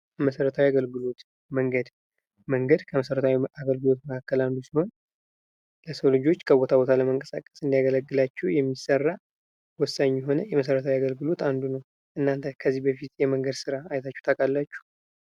መሠረታዊ የአገልግሎት መንገድ። መንገድ ከመሰረታዊ አገልግሎት መካከል አንዱ ሲሆን ለሰው ልጆች ከቦታ ቦታ ለመንቀሳቀስ እንዲያገለግላቸው የሚሰራ ወሳኝ የሆነ የመሰረታዊ አገልግሎት አንዱ ነው። እናንተ ከዚህ በፊት የመንገድ ስራ አይታችሁ ታውቃላችሁ?